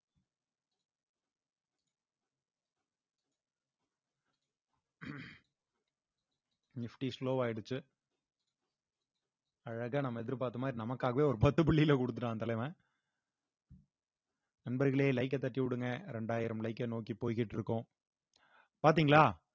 nifty slow ஆயிடுச்சு அழகா நம்ம எதிர்பார்த்த மாதிரி நமக்காகவே ஒரு பத்து புள்ளியில கொடுத்துட்டான் அந்த தலைவன் நண்பர்களே like அ தட்டி விடுங்க இரண்டாயிரம் like அ நோக்கி போய்கிட்டு இருக்கோம் பாத்தீங்களா